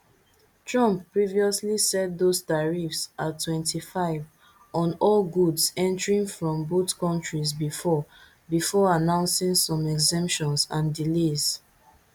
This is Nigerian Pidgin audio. trump previously set those tariffs at twenty-five on all goods entering from both countries before before announcingsome exemptions and delays